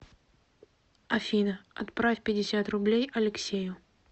афина отправь пятьдесят рублей алексею